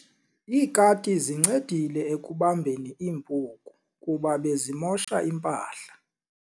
Iikati zincedile ekubambeni iimpuku kuba bezimosha impahla.